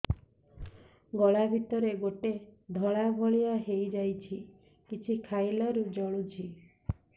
ଗଳା ଭିତରେ ଗୋଟେ ଧଳା ଭଳିଆ ହେଇ ଯାଇଛି କିଛି ଖାଇଲାରୁ ଜଳୁଛି